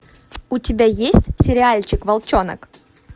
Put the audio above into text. у тебя есть сериальчик волчонок